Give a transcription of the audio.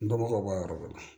Dɔnbagaw bɔ a yɔrɔ dɔ la